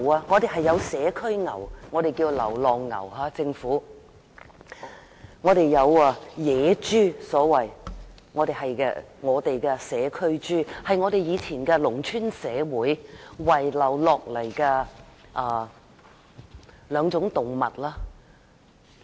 我們有社區牛，政府叫流浪牛，有野豬，我們叫社區豬，是以前農村社會遺留下來的兩種動物。